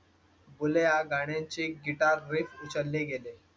बुलेया या गाण्या ची गिटार उचलले गेले.